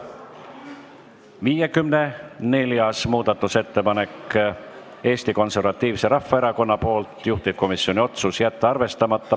54. muudatusettepanek on Eesti Konservatiivselt Rahvaerakonnalt, juhtivkomisjoni otsus: jätta arvestamata.